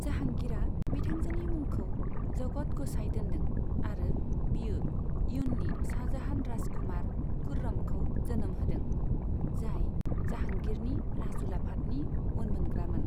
जाहांगीरआ बिथांजोनि मुंखौ जगत ग'साईं दोनदों, आरो बियो इयुननि शाहजाहान राजकुमार खुर्रमखौ जोनोम होदों, जाय जाहांगीरनि राजउलाफादनि उनमोनग्रामोन।